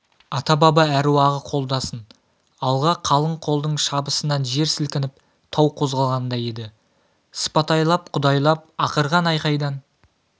ата-баба әруағы қолдасын алға қалың қолдың шабысынан жер сілкініп тау қозғалғандай еді сыпатайлап құдайлап ақырған айқайдан